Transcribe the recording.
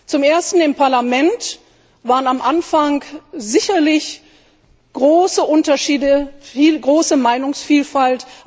Zum Ersten Im Parlament gab es am Anfang sicherlich große Unterschiede, große Meinungsvielfalt.